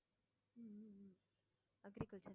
agriculture